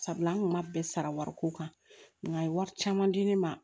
Sabula an kun ma bɛɛ sara wariko kan nka a ye wari caman di ne ma